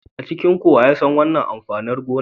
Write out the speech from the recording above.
A cikinku wa ya san wannan amfanin gona?